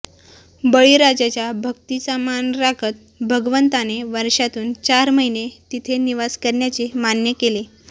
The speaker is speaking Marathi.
बळीराजाच्या भक्तीचा मान राखत भगवंताने वर्षातून चार महिने तिथे निवास करण्याचे मान्य केले